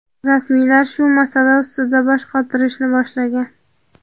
Rasmiylar shu masala ustida bosh qotirishni boshlagan.